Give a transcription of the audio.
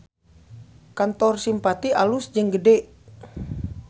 Kantor Simpati alus jeung gede